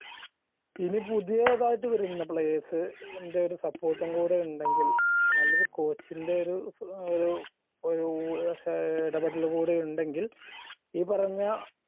ഇനി പുതിയതായിട്ട് വരുന്ന players ന്റെ ഒര് support ഉം കൂടെ ഉണ്ടെങ്കിൽ നല്ലൊരു coach ൻറെ ഒരു ഒരു ഒരു ശേ ഇടപെടൽ കൂടെ ഉണ്ടെകിൽ ഈ പറഞ്ഞ